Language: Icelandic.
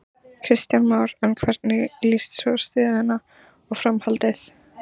Kristján Már: En hvernig líst svo á stöðuna og framhaldið?